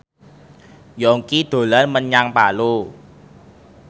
Yongki dolan menyang Palu